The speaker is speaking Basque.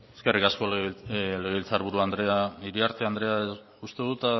eskerrik asko legebiltzar buru andrea iriarte andrea uste dut